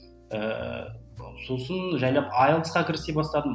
ііі сосын жайлап айлсқа кірісе бастадым